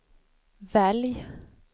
välj